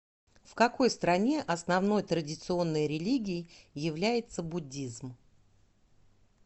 в какой стране основной традиционной религией является буддизм